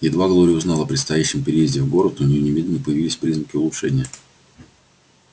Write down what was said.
едва глория узнала о предстоящем переезде в город у неё немедленно появились признаки улучшения